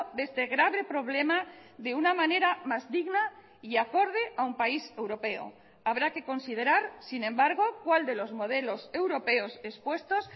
de este grave problema de una manera más digna y acorde a un país europeo habrá que considerar sin embargo cuál de los modelos europeos expuestos